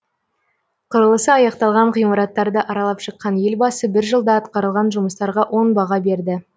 құрылысы аяқталған ғимараттарды аралап шыққан елбасы бір жылда атқарылған жұмыстарға оң баға берді